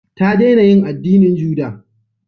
Ta dena yin addinin juda